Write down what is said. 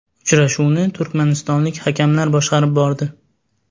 Uchrashuvni turkmanistonlik hakamlar boshqarib bordi .